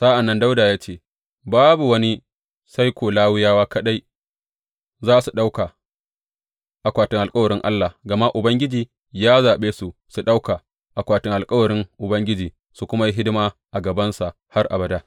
Sa’an nan Dawuda ya ce, Babu wani sai ko Lawiyawa kaɗai za su ɗauka akwatin alkawarin Allah, gama Ubangiji ya zaɓe su su ɗauka akwatin alkawarin Ubangiji su kuma yi hidima a gabansa har abada.